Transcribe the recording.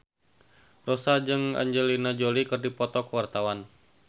Rossa jeung Angelina Jolie keur dipoto ku wartawan